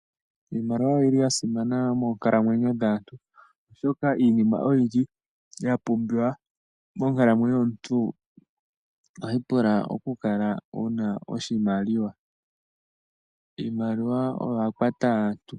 Iimaliwa oyili yasimana moonkalamwenyo dhaantu, oshoka iinima oyindji yapumbiwa monkalamwenyo yomuntu ohayi pula okukala wuna oshimaliwa . Iimaliwa oyo ya kwata aantu.